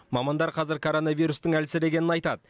мамандар қазір коронавирустің әлсірегенін айтады